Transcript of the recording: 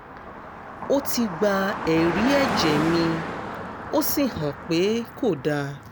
ó ti gba ẹ̀rí ẹ̀jẹ̀ mi ó sì hàn pé kò dáa